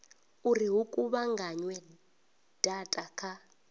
uri hu kuvhunganywe data kha